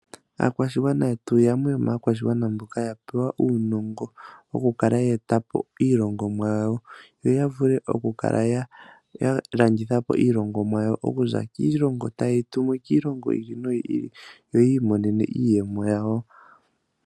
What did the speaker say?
Aakwashigwana yetu yamwe yomaakwashigwana mboka ya pewa uunongo okukala yeeta po iilongomwa yawo yoya vule Okukala yalanditha po iilongomwa yawo . Okuza kiilongo tayeyi tumu kiilongo yi ili noyi ili yoyi imonene iiyemo yawo.